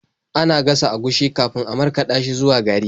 Ana gasa agushi kafin a markaɗa shi zuwa gari.